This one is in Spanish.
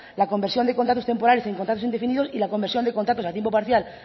la conversión de contratos temporales en contratos indefinidos y la conversión de contratos a tiempo parcial